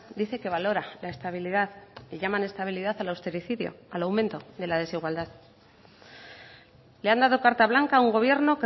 dice que valora la estabilidad y llaman estabilidad al austericidio al aumento de la desigualdad le han dado carta blanca a un gobierno